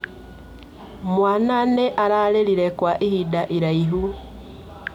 Mwaana nĩ ararĩrire kwa ihinda iraihu.